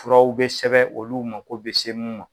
Furaw bɛ sɛbɛn olu mago bɛ se minnu ma.